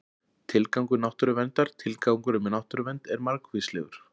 tilgangur náttúruverndar tilgangurinn með náttúruvernd er margvíslegur